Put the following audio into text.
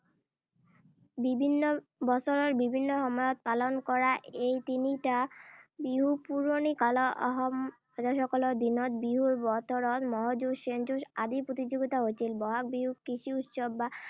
বিভিন্ন, বছৰৰ বিভিন্ন সময়ত পালন কৰা এই তিনিটা বিহু পুৰণি কালত আহোম ৰাজসকলৰ দিনত বিহুৰ বতৰত ম’হ যুঁজ, শেন যুঁজ আদিৰ প্ৰতিযোগিতা হৈছিল। বহাগ বিহুক কৃষি উৎসৱ বা